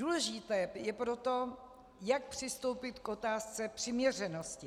Důležité je proto, jak přistoupit k otázce přiměřenosti.